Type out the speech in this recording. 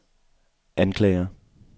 anklager